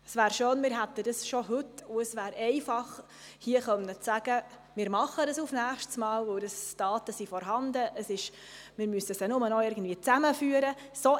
Es wäre schön, wir hätten es bereits heute und wir könnten hier einfach sagen, wir würden es für das nächste Mal erarbeiten, weil die Daten vorhanden sind und wir diese nur noch irgendwie zusammenführen müssten.